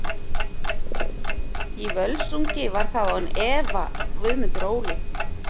Í Völsungi var það án efa Guðmundur Óli.